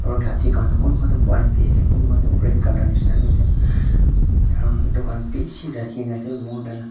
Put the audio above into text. aru lathi khan kunba toh white vi ase kunba toh red colour neshina vi ase aru etu khan bishi rakhina ase more then --